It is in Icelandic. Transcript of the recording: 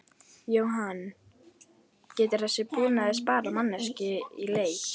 Jóhann: Getur þessi búnaður sparað mannskap í leit?